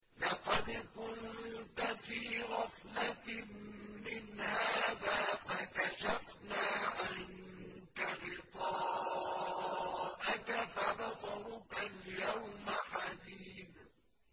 لَّقَدْ كُنتَ فِي غَفْلَةٍ مِّنْ هَٰذَا فَكَشَفْنَا عَنكَ غِطَاءَكَ فَبَصَرُكَ الْيَوْمَ حَدِيدٌ